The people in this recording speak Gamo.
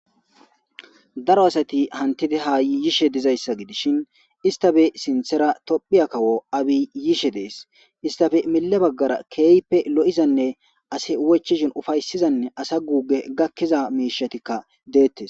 Daro asati hanitid ha yishshe dizayisa gidishini issitappe sinththera tophphiya kawo abi yishshe deesi issitappe mile bagara kehippe loizanne asi wochchishin ufayisiza asa gube gakiza mishatakka deetesi